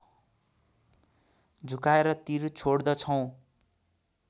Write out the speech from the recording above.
झुकाएर तीर छोड्दछौँ